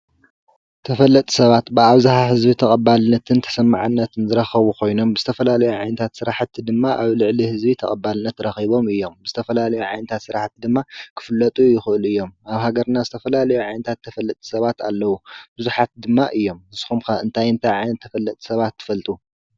ተፈለጥቲ ሰባት ብኣብዝሓ ህዝቢ ተቐባልነትን ተሰማዕነትትን ዝረኸቡ ኮይኖም ብዝተፈላለዩ ዓይነት ስራሕቲ ድማ ኣብ ልዕሊ ህዝቢ ተቐባልነት ረኪቦም አዮም። ዝተፋላለዩ ዓይነታት ስራሕቲ ድማ ክፍለጡ ይኽእሉ እዮም። ኣብ ሃገርና ዝተፋላለዩ ዓይነታት ተፈለጥቲ ሰባት ኣለዉ፣ ብዙሓት ድማ እዮም። ንስኹም ከ እንታይ እንታይ ዓይነት ተፈለጥቲ ሰባት ትፈልጡ ?